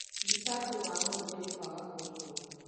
Thitabu magomire nĩ kwaga kũrĩhwo